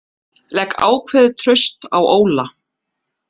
Legg ákveðið traust á Óla